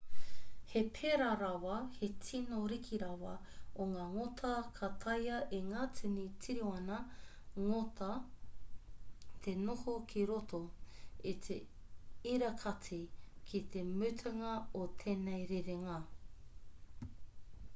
he pērā rawa te tino riki rawa o ngā ngota ka taea e ngā tini tiriona ngota te noho ki roto i te irakati ki te mutunga o tēnei rerenga